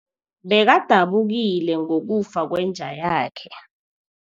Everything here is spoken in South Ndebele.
Bekadabukile ngokufa kwenja yakhe.